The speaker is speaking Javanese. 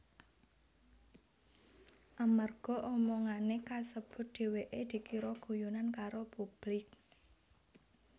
Amarga omongané kasebut dheweké dikira guyonan karo publik